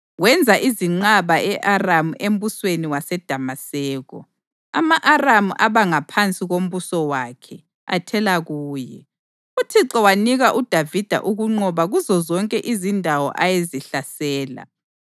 Wenza izinqaba e-Aramu embusweni waseDamaseko, ama-Aramu aba ngaphansi kombuso wakhe athela kuye. UThixo wanika uDavida ukunqoba kuzozonke izindawo ayezihlasela.